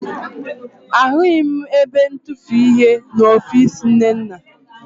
Ahụghị m ebe ntufuihe n'ọfiisi Nnenna